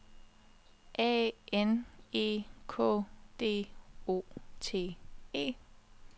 A N E K D O T E